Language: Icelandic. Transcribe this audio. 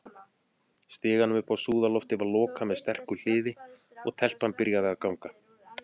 Stiganum upp á súðarloftið var lokað með sterku hliði, og- telpan byrjaði að ganga.